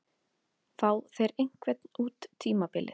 Fá þeir einhvern út tímabilið?